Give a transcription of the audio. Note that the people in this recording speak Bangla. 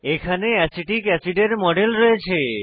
এখানে অ্যাসিটিক অ্যাসিডের মডেল রয়েছে